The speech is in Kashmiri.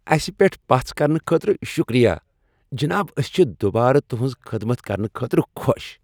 اسہ پیٹھ پژھ کرنہٕ خٲطرٕ شکریہ، جناب۔ أسۍ چھ دوبارٕ تہٕنز خدمت کرنہٕ خٲطرٕ خۄش۔